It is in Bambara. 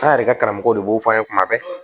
An yɛrɛ ka karamɔgɔ de b'o fɔ an ye kuma bɛɛ